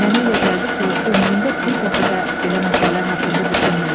Mənə elə gəldi ki, o ömründə bir dəfə də belə məsələlər haqqında düşünməyib.